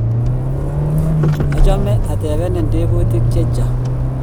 achame atepenen tebutik chechang